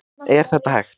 Er þetta hægt?